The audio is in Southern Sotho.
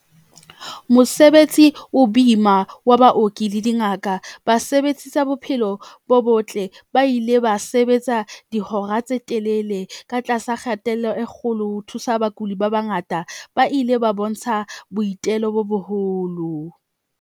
Mosebetsi o boima wa baoki le dingaka. Basebetsi tsa bophelo bo botle ba ile ba sebetsa dihora tse telele ka tlasa kgatello e kgolo, ho thusa bakudi ba bangata ba ile ba bontsha boitelo bo boholo.